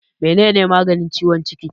Mene ne maganin ciwon ciki?